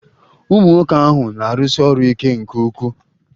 Ụmunwoke ahụ na-arụsi ọrụ ike nke ukwuu.